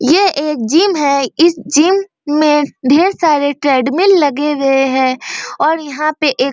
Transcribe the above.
ये एक जिम है इस जिम में ढेर सारे ट्रेडमिल लगे हुए है और यहां पे एक --